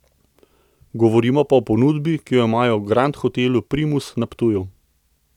Govorimo pa o ponudbi, ki jo imajo v Grand Hotelu Primus na Ptuju.